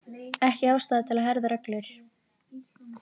Ekki ástæða til að herða reglur